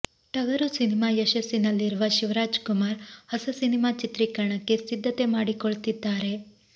ಟಗರು ಸಿನಿಮಾ ಯಶಸ್ಸಿನಲ್ಲಿರುವ ಶಿವರಾಜ್ ಕುಮಾರ್ ಹೊಸ ಸಿನಿಮಾ ಚಿತ್ರೀಕರಣಕ್ಕೆ ಸಿದ್ದತೆ ಮಾಡಿಕೊಳ್ತಿದ್ದಾರೆ